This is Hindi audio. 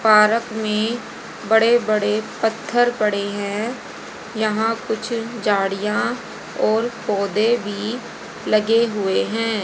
पार्क में बड़े बड़े पत्थर पड़े हैं यहां कुछ झाड़ियां और पौधे भी लगे हुए हैं।